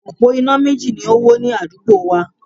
Òpó iná méjì ni o wó ní adúgbo wa